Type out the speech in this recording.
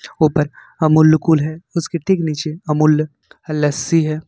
ऊपर अमूल्य कूल है उसके ठीक नीचे अमूल्य का लस्सी है।